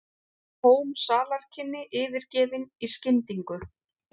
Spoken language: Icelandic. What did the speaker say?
Tóm salarkynni yfirgefin í skyndingu.